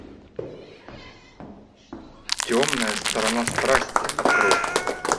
темная сторона страсти открой